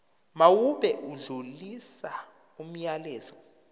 mawube odlulisa umyalezo